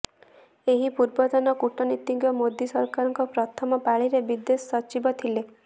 ଏହି ପୂର୍ବତନ କୂଟନୀତିଜ୍ଞ ମୋଦୀ ସରକାରଙ୍କ ପ୍ରଥମ ପାଳିରେ ବିଦେଶ ସଚିବ ଥିଲେ